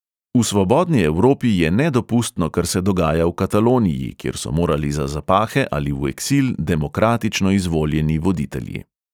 V svobodni evropi je nedopustno, kar se dogaja v kataloniji, kjer so morali za zapahe ali v eksil demokratično izvoljeni voditelji ...